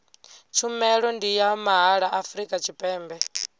tshumelo ndi ya mahala afrika tshipembe